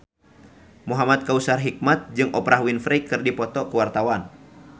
Muhamad Kautsar Hikmat jeung Oprah Winfrey keur dipoto ku wartawan